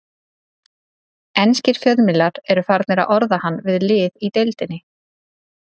Enskir fjölmiðlar eru farnir að orða hann við lið í deildinni.